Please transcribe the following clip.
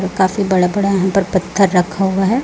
काफी बड़ा बड़ा यहां पर पत्थर रखा हुआ है।